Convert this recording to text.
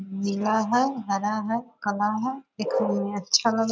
नीला है हरा है काला है देखने में अच्छा लग --